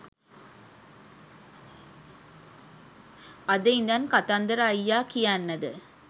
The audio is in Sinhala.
අද ඉඳන් කතන්දර අයියා කියන්නද?